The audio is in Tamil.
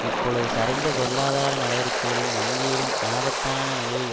இப்பொழுது சரிந்த பொருளாதார நடவடிக்கை வங்கிகளின் ஆபத்தான நிலையை